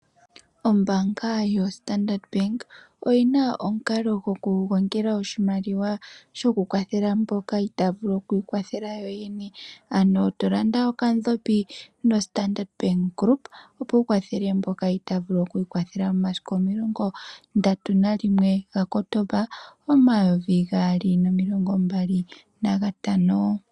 Ombaanga yoStandard Bank oyina omukalo gwo kugongela oshimaliwa sho kukwathela mboka itaya vulu okwiikwathela yo yene ,ano tolanda okadhopi noStandard Bank group opo wu kwathele mboka itaya vulu okwiikwathela yo yene ,momasiku 31 Octomba 2025.